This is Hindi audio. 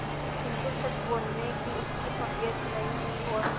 किंतु सच बोलने की उसकी तबीयत नहीं हुई और